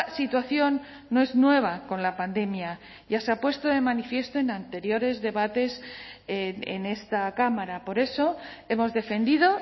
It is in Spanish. situación no es nueva con la pandemia ya se ha puesto de manifiesto en anteriores debates en esta cámara por eso hemos defendido